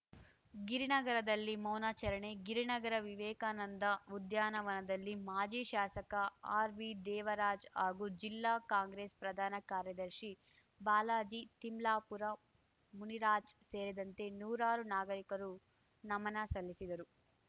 ಗಿರಿನಗರದಲ್ಲಿ ಮೌನಾಚರಣೆ ಗಿರಿನಗರ ವಿವೇಕಾನಂದ ಉದ್ಯಾನವನದಲ್ಲಿ ಮಾಜಿ ಶಾಸಕ ಆರ್‌ವಿ ದೇವರಾಜ್‌ ಹಾಗೂ ಜಿಲ್ಲಾ ಕಾಂಗ್ರೆಸ್‌ ಪ್ರಧಾನ ಕಾರ್ಯದರ್ಶಿ ಬಾಲಾಜಿ ತಿಮ್ಲಾಪುರ ಮುನಿರಾಜ್‌ ಸೇರಿದಂತೆ ನೂರಾರು ನಾಗರಿಕರು ನಮನ ಸಲ್ಲಿಸಿದರು